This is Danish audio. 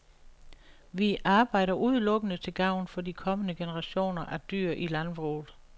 Vi arbejder udelukkende til gavn for de kommende generationer af dyr i landbruget.